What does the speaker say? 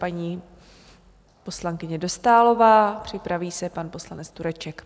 Paní poslankyně Dostálová, připraví se pan poslanec Tureček.